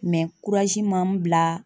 m'an bila